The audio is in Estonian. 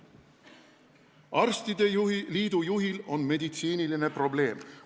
"Arstide liidu juhil on meditsiiniline probleem.